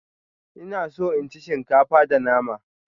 Ina so in ci shinkafa da nama.